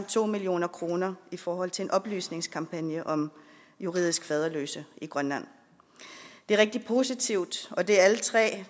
to million kroner i forhold til en oplysningskampagne om juridisk faderløse i grønland det er rigtig positivt og det er alle tre